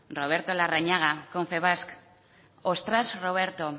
roberto larrañaga confebask ostras roberto